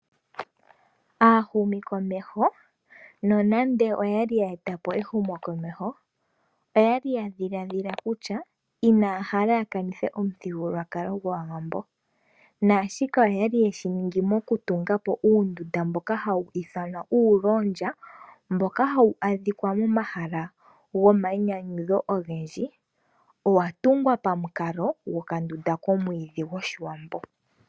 Aahumikomeho nonande oya li ya eta po ehumokomeho oya li ya dhiladhila kutya inaya hala ya kanithe omuthigululwakalo gwaawambo. Naashika oya li yeshi ningi mokutunga po uundunda mboka hawu ithanwa kutya uulolya mboka hawu adhika momahala ogendji. Owa tungwa pamukalo gwokandunda komwiidhi gwoshiwambo.